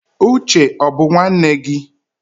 Uche ó bu nwanne gi?